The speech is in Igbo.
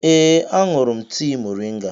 Ee, aṅụrụ m tii moringa